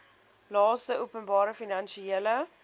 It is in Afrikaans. laste openbare finansiële